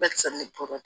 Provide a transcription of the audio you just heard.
Bɛɛ kisɛ ne tora